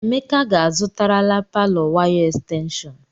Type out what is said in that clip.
Emeka ga-azụtarala palọ waya estenshọn.